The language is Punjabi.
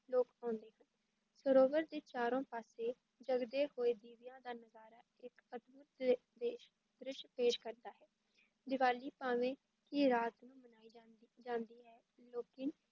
ਲੋਕ ਆਉਂਦੇ ਹਨ, ਸਰੋਵਰ ਦੇ ਚਾਰੋਂ ਪਾਸੇ ਜਗਦੇ ਹੋਏ ਦੀਵਿਆਂ ਦਾ ਨਜ਼ਾਰਾ ਇੱਕ ਅਦਭੁੱਤ ਪੇਸ਼ ਦ੍ਰਿਸ਼ ਪੇਸ਼ ਕਰਦਾ ਹੈ, ਦੀਵਾਲੀ ਭਾਵੇਂ ਕਿ ਰਾਤ ਨੂੰ ਮਨਾਈ ਜਾਂਦੀ, ਜਾਂਦੀ ਹੈ ਲੇਕਿਨ